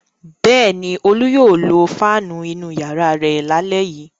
Bẹ́ẹ̀ ni, Olú yóò lo fáánù inú ìyàrá rẹ̀ lálẹ́ yìí.